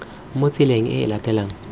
mo tseleng e e latelanang